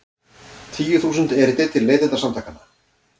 Tíu þúsund erindi til Neytendasamtakanna